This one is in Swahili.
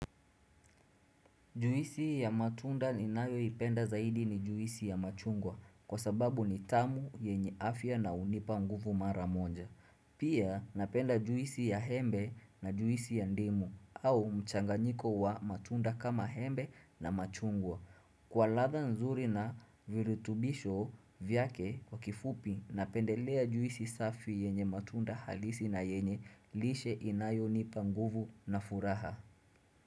Juisi ya matunda inayo ipenda zaidi ni Juisi ya machungwa kwa sababu ni tamu yenye afya na unipa nguvu mara monja. Pia napenda juisi ya embe na juisi ya ndimu au mchanganyiko wa matunda kama embe na machungwa. Kwa latha nzuri na virutubisho vyake kwa kifupi napendelea juisi safi yenye matunda halisi na yenye lishe inayo nipa nguvu na furaha.